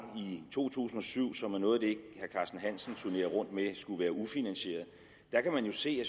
to tusind og syv som er noget af det herre carsten hansen turnerer rundt med skulle være ufinansieret kan man jo se